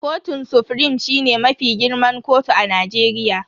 Kotun sufrim shine mafi girman kotu a Najeriya.